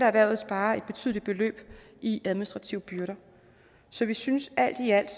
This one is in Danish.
erhvervet sparer et betydeligt beløb i administrative byrder så vi synes alt i alt